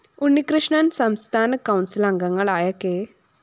ഉണ്ണികൃഷ്ണന്‍ സംസ്ഥാന കൗണ്‍സില്‍ അംഗങ്ങളായ കെ